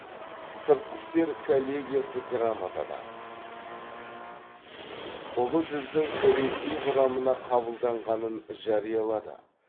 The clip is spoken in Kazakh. сыртқы істер коллегиясы грамотада ұлы жүздің ресей құрамына қабылданғанын жариялады